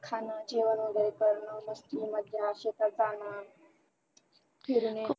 खाण जेवण वगैरे करण मग शेतात जाणार फिरणे